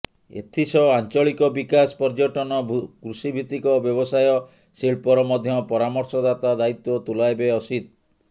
ଏଥିସହ ଆଞ୍ଚଳିକ ବିକାଶ ପର୍ଯ୍ୟଟନ କୃଷିଭିତ୍ତିକ ବ୍ୟବସାୟ ଶିଳ୍ପର ମଧ୍ୟ ପରାମର୍ଶଦାତା ଦାୟିତ୍ୱ ତୁଲାଇବେ ଅସିତ